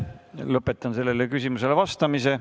Lõpetan sellele küsimusele vastamise.